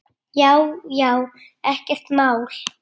Já já, ekkert mál.